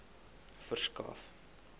verskaf